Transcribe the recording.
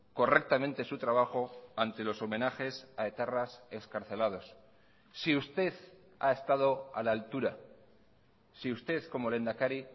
correctamente su trabajo ante los homenajes a etarras excarcelados si usted ha estado a la altura si usted como lehendakari